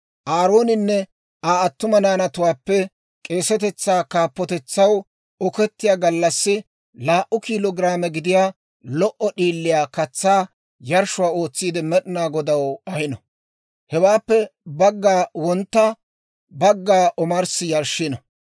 «Aarooninne Aa attuma naanattuwaappe k'eesatetsaa kaappotetsaw okettiyaa gallassi laa"u kiilo giraame gidiyaa lo"o d'iiliyaa katsaa yarshshuwaa ootsiide Med'inaa Godaw ahino. Hewaappe bagga wontta, bagga omarssi yarshshino.